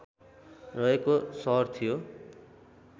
रहेको सहर थियो